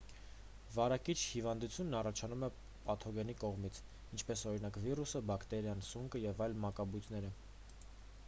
վարակիչ հիվանդությունն առաջանում է պաթոգենի կողմից ինչպես օրինակ վիրուսը բակտերիան սունկը և այլ մակաբույծները